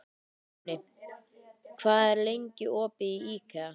Vápni, hvað er lengi opið í IKEA?